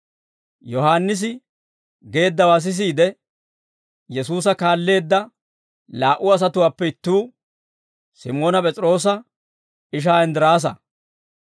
Yohaannisi geeddawaa sisiide, Yesuusa kaalleedda laa"u asatuwaappe ittuu, Simoona P'es'iroosa ishaa Inddiraasa.